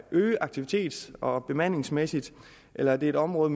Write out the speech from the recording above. øges aktivitets og bemandingsmæssigt eller er det et område